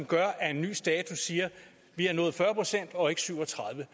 gør at en ny status siger at vi har nået fyrre procent og ikke syv og tredive